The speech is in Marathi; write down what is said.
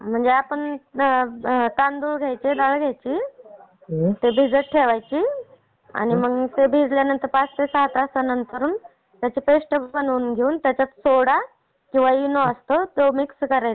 म्हणजे आपण तांदूळ घ्यायची, दाळ घ्यायची. ते भिजत ठेवायची आणि मग भिजल्यानंतर पाच ते सहा तासांनी त्याची पेस्ट बनवून घेऊन. सोडा किंवा इनो असतो तो मिक्स करायचा.